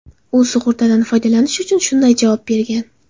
U sug‘urtadan foydalanish uchun shunday javob bergan.